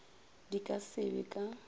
di ka se be ka